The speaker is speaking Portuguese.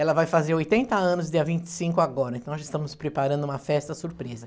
Ela vai fazer oitenta anos, dia vinte e cinco agora, então nós já estamos preparando uma festa surpresa.